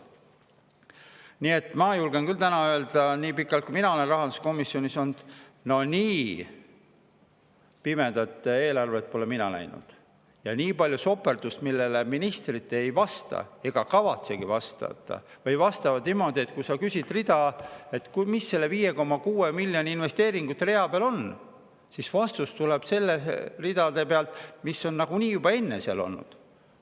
Nii et ma julgen küll täna öelda, et nii pikalt, kui mina olen rahanduskomisjonis olnud, ei ole mina näinud nii pimedat eelarvet ja nii palju soperdust, mille kohta ministrid ei vasta ega kavatsegi vastata või vastavad niimoodi, kui sa küsid, mis selle 5,6 miljoni suuruse investeeringute rea peal on, et vastus tuleb nende ridade kohta, mis on nagunii juba enne seal on olnud.